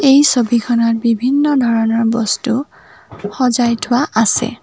এই ছবিখনত বিভিন্ন ধৰণৰ বস্তু সজাই থোৱা আছে।